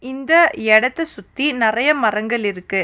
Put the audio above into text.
இந்த எடத்த சுத்தி நெறைய மரங்கள் இருக்கு.